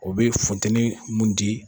O be funteni mun di.